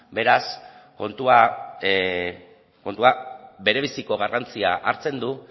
beraz kontua berebiziko garrantzia hartzen du